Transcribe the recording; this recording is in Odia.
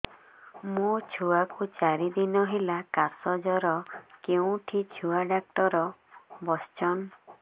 ମୋ ଛୁଆ କୁ ଚାରି ଦିନ ହେଲା ଖାସ ଜର କେଉଁଠି ଛୁଆ ଡାକ୍ତର ଵସ୍ଛନ୍